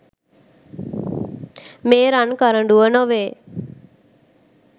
මේ රන් කරඬුව නොවේ.